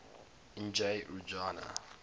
n g rjuna